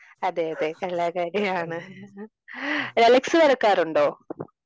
അതെ അതെ കലാകാരിയാണ് ദലക്ഷ് വരക്കാറുണ്ടോ?